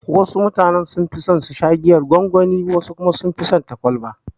Wasu mutane sunfi son susha giyar gwangwani, wasu kuma sunfi son ta kwalba.